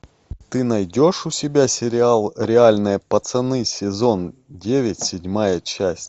ты найдешь у себя сериал реальные пацаны сезон девять седьмая часть